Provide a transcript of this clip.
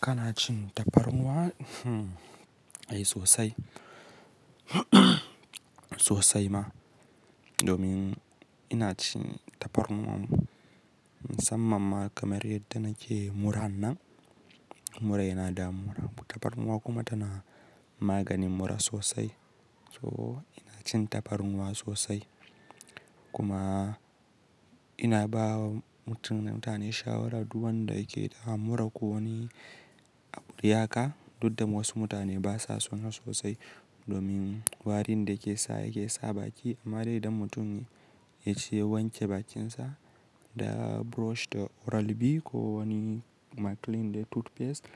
Ka na cin tafarnuwa? Hmm! Ai sosai sosai ma domin ina cin tafarnuwa musamman ma kamar yadda nake muran nan mura yana damuna tafarnuwa kuma tana maganin mura sosai. To ina cin tafarnuwa sosai kuma ina bawa mutane shawara duk wanda yake da mura ko wani abu dai haka, duk da wasu mutane basa son sa sosai domin warin da yake sa yake sa baki. Amma dai da mutum ya ci ya wanke bakinsa da brush da oral B ko wani maclean dai toothpaste